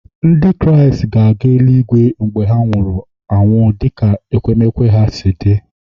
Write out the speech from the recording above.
Ndị Kraịst ga-aga eli-igwe mgbe ndị nwụrụ anwụ dị ka nkwenkwe ha si dị